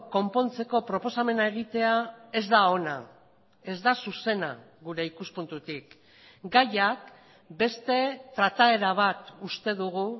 konpontzeko proposamena egitea ez da ona ez da zuzena gure ikuspuntutik gaiak beste trataera bat uste dugu